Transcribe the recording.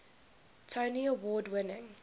tony award winning